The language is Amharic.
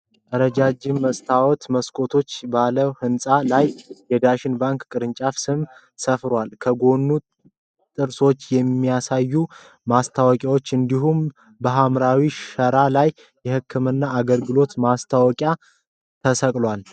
ረጃጅም የመስታወት መስኮቶች ባለው ህንፃ ላይ የዳሽን ባንክ ቅርንጫፍ ስም ሰፍሯል። ከጎኑ ጥርሶችን የሚያሳዩ ማስታወቂያዎች እንዲሁም በሐምራዊ ሸራ ላይ የህክምና አገልግሎት ማስታወቂያ ተሰቅሏል።